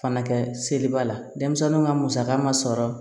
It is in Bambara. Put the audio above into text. Fana kɛ seliba la denmisɛnninw ka musaka ma sɔrɔ